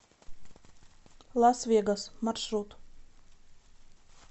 лас вегас маршрут